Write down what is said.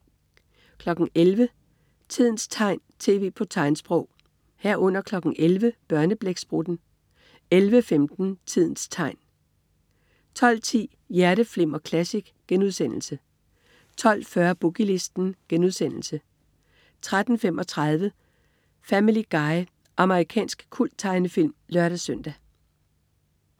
11.00 Tidens tegn, tv på tegnsprog 11.00 Børneblæksprutten 11.15 Tidens tegn 12.10 Hjerteflimmer Classic* 12.40 Boogie Listen* 13.35 Family Guy. Amerikansk kulttegnefilm (lør-søn)